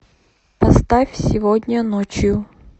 поставь сегодняночью